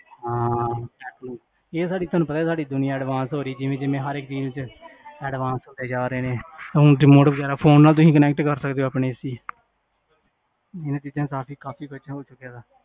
ਹਾਂ ਇਹ ਸਾਡੀ ਤੋਨੁ ਪਤਾ ਸਾਡੀ ਦੁਨਿਆ advance ਹੋਰੀ ਸੀ, ਜਿਵੇਂ ਹਰ ਇਕ field ਚ, advance ਹੋਈ ਜਾ ਰਹੇ ਹੈ remote ਵਗੇਰਾ, ਫੋਨ ਨਾਲ ਤੁਸੀਂ connect ਕਰ ਸਕਦੇ ਹੋ ਆਪਣੇ AC